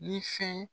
Ni fɛn